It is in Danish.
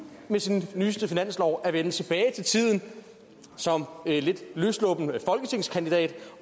med sin nyeste finanslov at vende tilbage til tiden som lidt løssluppen folketingskandidat